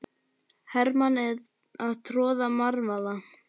Hermenn að troða marvaða.